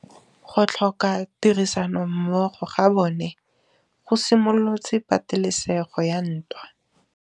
Go tlhoka tirsanommogo ga bone go simolotse patêlêsêgô ya ntwa.